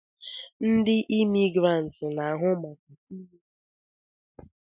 Ndi Imigiranti na-ahụ maka inye pasipotu